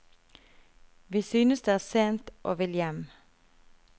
Vi synes det er sent og vil hjem.